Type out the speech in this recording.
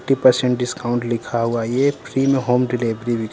thirty percent discount लिखा हुआ है ये फ्री में होम डिलीवरी भी--